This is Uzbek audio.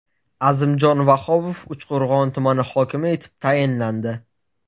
Azimjon Vahobov Uchqo‘rg‘on tumani hokimi etib tayinlandi.